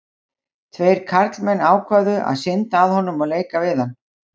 tveir karlmenn ákváðu að synda að honum og leika við hann